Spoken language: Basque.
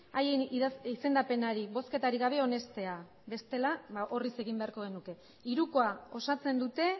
haien izendapenari bozketarik gabe onestea bestela orriz egin beharko genuke hirukoa osatzen dute